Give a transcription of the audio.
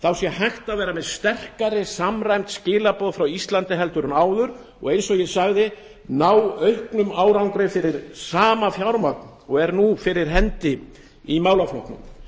menningarkynningar sé hægt að vera með sterkari samræmd skilaboð frá íslandi en áður og eins og ég sagði ná auknum árangri fyrir sama fjármagn og er nú fyrir hendi í málaflokknum